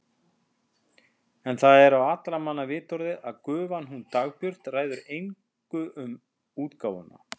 En það er á allra manna vitorði að gufan hún Dagbjört ræður engu um útgáfuna.